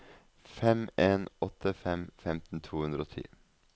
fem en åtte fem femten to hundre og ti